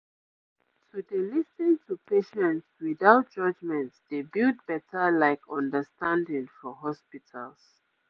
to dey lis ten to patients without judgement dey build better like understanding for hospitals